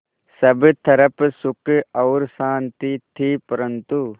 सब तरफ़ सुख और शांति थी परन्तु